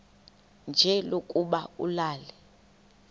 nje lokuba ulale